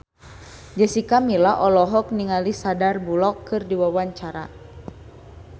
Jessica Milla olohok ningali Sandar Bullock keur diwawancara